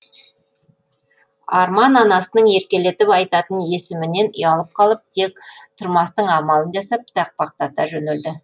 арман анасының еркелетіп айтатын есімінен ұялып қалып тек тұрмастың амалын жасап тақпақтата жөнелді